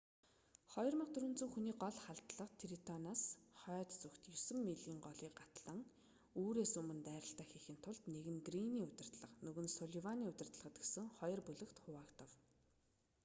2400 хүний гол халдлага трентоноос хойд зүгт есөн милийн голыг гатлан үүрээс өмнө дайралтаа хийхийн тулд нэг нь грийний удирдлагад нөгөө нь сулливаны удирдлагад гэсэн хоёр бүлэгт хуваагдав